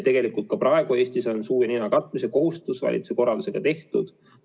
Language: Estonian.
Ka praegu on Eestis suu ja nina katmise kohustus valitsuse korraldusega kehtestatud.